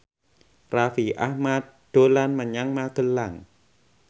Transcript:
Raffi Ahmad dolan menyang Magelang